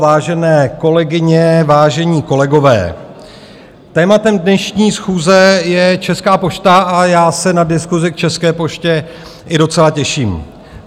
Vážené kolegyně, vážení kolegové, tématem dnešní schůze je Česká pošta a já se na diskusi k České poště i docela těším.